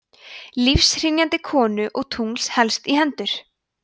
lífshrynjandi konu og tungls helst í hendur